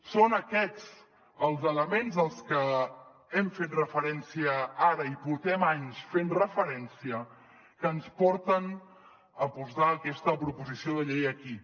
són aquests els elements als que hem fet referència ara i portem anys fent hi referència que ens porten a portar aquesta proposició de llei aquí